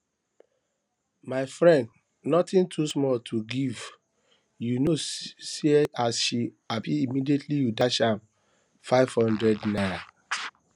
my friend nothing too small to give you know see as she happy immediately you dash am five hundred naira